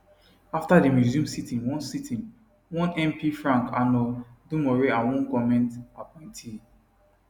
afta dem resume sitting one sitting one mp frank annor domoreh and one goment appointee